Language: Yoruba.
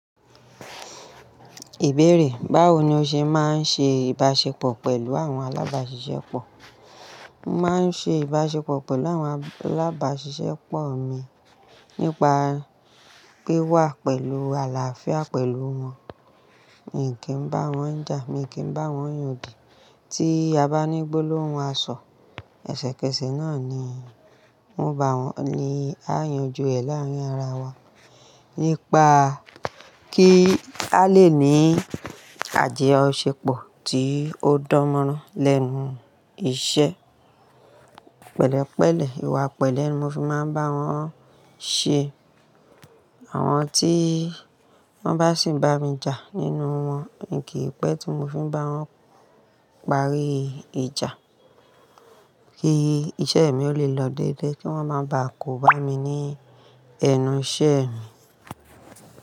Ìbéèrè: báwo ni o ṣe máa ń ṣe ìbáṣepọ̀ pẹ̀lú àwọn alábáṣiṣẹ́ pọ̀? Mo máa ń ṣe ìbáṣepọ̀ pẹ̀lú àwọn alábáṣiṣẹ́ pọ̀ mi nípa pé wà pẹ̀lú àlàáfíà pẹ̀lú wọn. Mi kì n bá wọn jà, mi kì n bá wọn yàndì. Tí a bá ní gbólóhun asọ, ẹsẹ̀kẹsẹ̀ náà ni won bá wọn ni a yanjú ẹ̀ láárín ara wa nípa kí a lè ní ajoṣe pọ̀ tí ó dánmọ́rán lẹ́nu iṣẹ́. Pẹ̀lẹ́pẹ̀lẹ́, ìwà pẹ̀lẹ́ ni mo fi máa ń bá wọn ṣe. Àwọn tí wọ́n bá sì bá mi jà nínú wọn, mi kì í pẹ́ tí mo fi n bá wọn parí ìjà kí iṣẹ́ mi ó lè lọ déédéé kí wọ́n máa ba kò bá mi ní ẹnu iṣẹ́ mi.